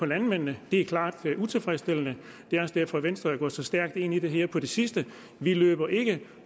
landmændene det er klart utilfredsstillende det er også derfor at venstre er gået så stærkt ind i det her på det sidste vi løber ikke